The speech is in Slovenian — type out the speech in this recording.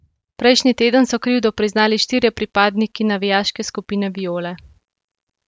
Prejšnji teden so krivdo priznali štirje pripadniki navijaške skupine Viole.